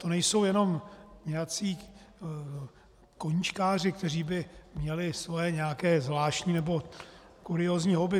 To nejsou jenom nějací koníčkáři, kteří by měli svoje nějaké zvláštní nebo kuriózní hobby.